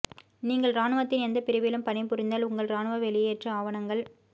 நீங்கள் இராணுவத்தின் எந்த பிரிவிலும் பணிபுரிந்தால் உங்கள் இராணுவ வெளியேற்ற ஆவணங்கள்